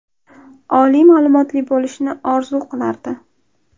Oliy ma’lumotli bo‘lishni orzu qilardi.